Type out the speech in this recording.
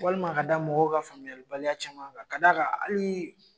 Walima ka da mɔgɔw ka faamuyalibaliya caman kan ka d'a kan ali